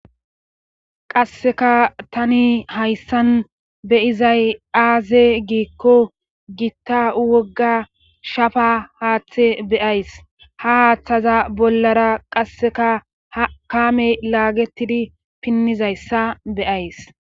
Qasseka tani hayssan beyizay aaze giikko gitta wogga shafa haaththe beyays ha haaththaza bollara qasseka hakame laagetidi pinnizayssa beyays